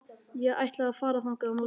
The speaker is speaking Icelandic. Ég ætla að fara þangað á morgun.